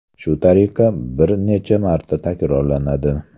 Shu tariqa bir necha marta takrorlanadi.